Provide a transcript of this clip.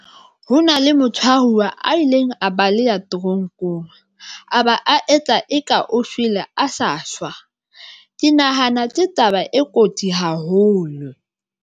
Ho na le motho a fuwa a ileng a baleya toronkong aba a etla eka o shwele a sa shwa. Ke nahana ke taba e kotsi haholo.